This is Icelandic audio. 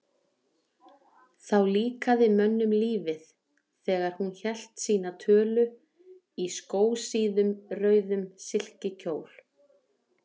Þá líkaði mönnum lífið, þegar hún hélt sína tölu, í skósíðum, rauðum silkikjól.